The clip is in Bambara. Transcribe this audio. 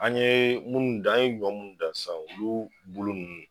An ɲe munnu dan, an ɲe ɲɔn munnu dan sisan olu bolo nunnu